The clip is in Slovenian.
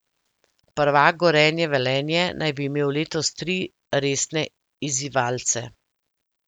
Prvak Gorenje Velenje naj bi imel letos tri resne izzivalce.